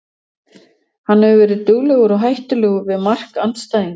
Hann hefur verið duglegur og hættulegur við mark andstæðinganna.